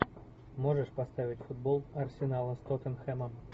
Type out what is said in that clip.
можешь поставить футбол арсенала с тоттенхэмом